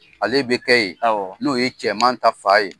Ale bɛ kɛ yen; Awɔ; N'o ye cɛman ta fa ye.